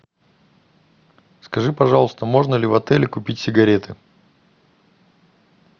скажи пожалуйста можно ли в отеле купить сигареты